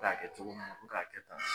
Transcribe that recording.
K'a kɛ cogo min na u bi k'a kɛ tan